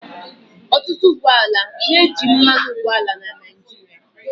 Ọtụtụ ụgbọ ala na-eji mmanụ ụgbọala na Naịjirịa.